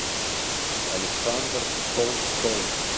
александр толстов